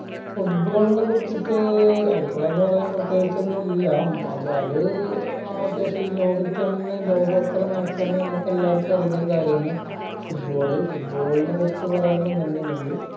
football ന കുറിച്ചിറ്റ് അഭിപ്രായന്ന് പറയാൻ പ്രതേകിച്ചോന്നുല്ലാ മ് അത് അത്യാവശ്യം ഏർ ഈ ലോകത്തെന്നെ ലോകോത്തര match ആന്ന് നമ്മക്കെല്ലാവർക്കും അറിയുന്നൊരു കാര്യാണ് football football ന കുറിച്ച് പറയാ പറയാന്നിന്നിണ്ടെകി